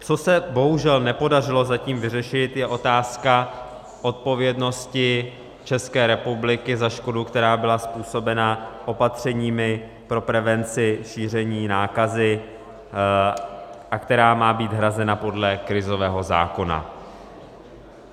Co se bohužel nepodařilo zatím vyřešit, je otázka odpovědnosti České republiky za škodu, která byla způsobena opatřeními pro prevenci šíření nákazy a která má být hrazena podle krizového zákona.